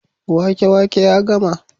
wake wake ya gama